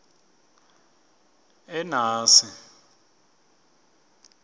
enasi